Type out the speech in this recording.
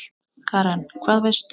Karen: Hvað veistu?